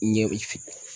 Ɲɛ bɛ